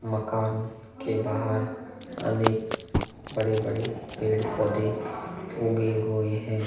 मकान के बाहर अनेक बड़े-बड़े पेड़-पोधे उगे हुए है।